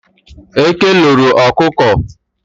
Eke loro ọkụkọ.